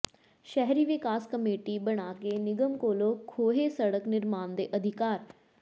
ਸ਼ਹਿਰੀ ਵਿਕਾਸ ਕਮੇਟੀ ਬਣਾ ਕੇ ਨਿਗਮ ਕੋਲੋਂ ਖੋਹੇ ਸੜਕ ਨਿਰਮਾਣ ਦੇ ਅਧਿਕਾਰ